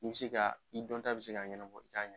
I be se ka i dɔnta bɛ se ka ɲɛnabɔ i ka ɲ